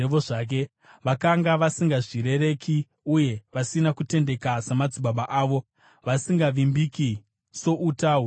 Vakanga vasingazvirereki uye vasina kutendeka samadzibaba avo, vasingavimbiki souta hunonyengera.